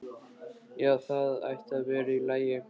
Já, það ætti að vera í lagi.